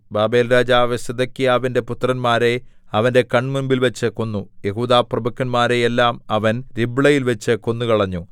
ബാബേൽരാജാവ് സിദെക്കീയാവിന്റെ പുത്രന്മാരെ അവന്റെ കണ്മുമ്പിൽ വച്ച് കൊന്നു യെഹൂദാപ്രഭുക്കന്മാരെ എല്ലാം അവൻ രിബ്ളയിൽവച്ച് കൊന്നുകളഞ്ഞു